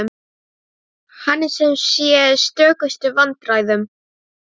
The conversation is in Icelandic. Hann er sem sé í stökustu vandræðum!